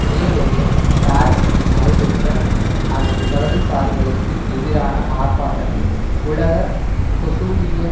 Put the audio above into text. மே ஒன்றில் பாரீசில் நடைபெற்ற அதி வலதுசாரிகளுக்கு எதிரான ஆர்ப்பாட்டத்தில் உலக கோசுலிய